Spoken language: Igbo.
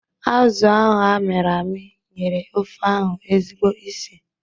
Azụ ahụ a miri ami nyere ofe ahụ ezigbo ísì